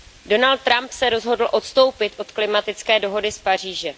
Donald Trump se rozhodl odstoupit od klimatické dohody z Paříže.